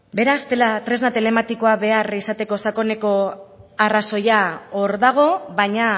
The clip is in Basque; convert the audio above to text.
beraz tresna telematikoa behar izateko sakoneko arrazoia hor dago baina